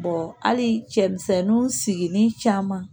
hali cɛmisɛnninw sigilen caman